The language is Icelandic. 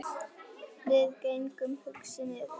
Við gengum hugsi niður